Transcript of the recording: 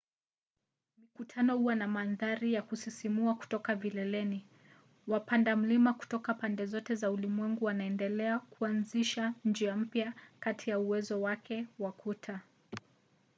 mikutano huwa na mandhari za kusisimua kutoka vileleni. wapanda mlima kutoka pande zote za ulimwengu wanaendelea kuanzisha njia mpya kati ya uwezo wake wa kuta